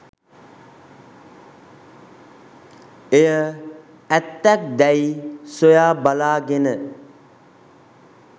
එය ඇත්තක් දැයි සොයා බලාගෙන